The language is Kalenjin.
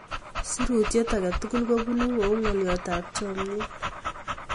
Sirutyet ake tukul kobunun kou ng'alyotap chomyet.